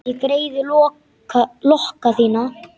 Ég greiði lokka þína.